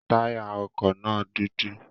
Táyà ọkọ na dudu